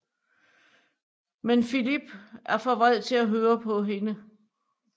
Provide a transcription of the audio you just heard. Men Filip er for vred til at høre på hende